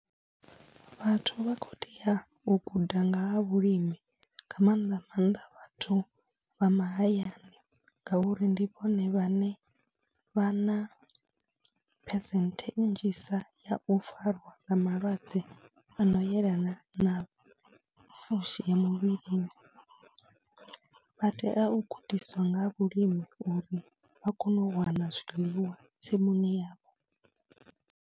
Vhathu vha khou tea u guda nga ha vhulimi nga maanḓa maanḓa vhathu vha mahayani ngauri ndi vhone vhane vha na percent nnzhisa ya u fariwa nga malwadze a no yelana na fushi ya muvhilini, vha tea u gudiswa nga ha vhulimi uri vha kone u wana zwiḽiwa tsimuni yavho.